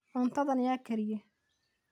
cuntadhan yaa kariye